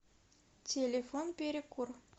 телефон перекур